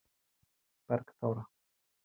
Bergþóra